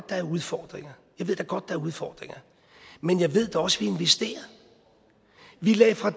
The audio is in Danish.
der er udfordringer jeg ved da godt er udfordringer men jeg ved da også at vi investerer vi lagde fra